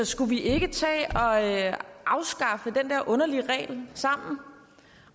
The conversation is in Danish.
skulle vi ikke tage at afskaffe den der underlige regel sammen